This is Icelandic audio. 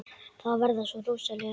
Það verða svo rosaleg læti.